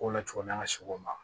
Ko la cogo min na an ka segu ma